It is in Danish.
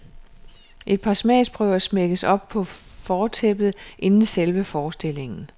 Et par smagsprøver smækkes op på fortæppet, inden selve forestillingen.